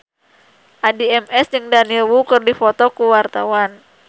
Addie MS jeung Daniel Wu keur dipoto ku wartawan